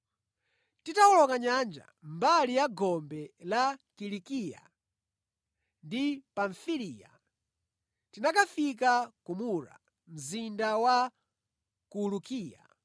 Titawoloka nyanja mbali ya gombe la Kilikiya ndi Pamfiliya, tinakafika ku Mura, mzinda wa ku Lukia.